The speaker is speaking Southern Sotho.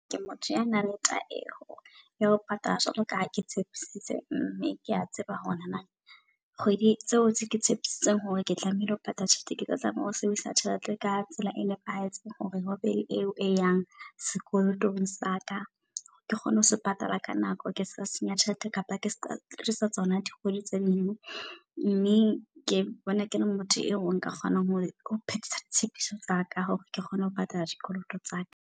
Ke motho ya nang le taeho ya ho patala jwalo kaha ke tshepisitse. Mme kea tseba hore na kgwedi tseo ke tshepisitse hore ke tlamehile ho patala tjhelete, ke tlo tlameha ho sebedisa tjhelete ka tsela e nepahetseng. Hore hobe le eo e yang sekolotong saka ke kgone ho se patala ka nako ke seka senya tjhelete. Kapa ke seka ke tsa tsona dikgwedi tse ding. Mme ke bona ke le motho eo nka kgonang hore ho phethisa tshepiso tsa ka hore ke kgone ho patala dikoloto tsaka.